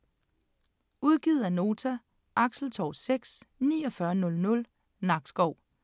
Udgivet af Nota Axeltorv 6 4900 Nakskov